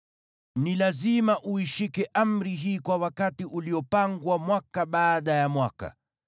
Ni lazima uishike amri hii kwa wakati uliopangwa mwaka baada ya mwaka.